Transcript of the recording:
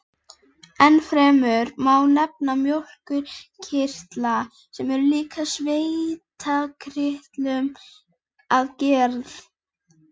Ennfremur má nefna mjólkurkirtla, sem eru líkir svitakirtlum að gerð.